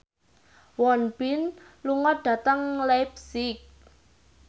Won Bin lunga dhateng leipzig